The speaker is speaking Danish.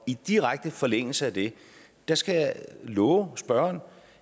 i direkte forlængelse af det skal jeg love spørgeren